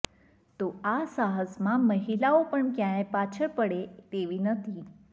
તો આ સાહસમાં મહિલાઓ પણ ક્યાંય પાછળ પડે તેવી નથી